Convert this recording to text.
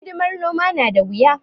Hidimar noma na da wuya.